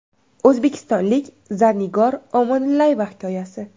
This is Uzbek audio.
O‘zbekistonlik Zarnigor Omonillayeva hikoyasi.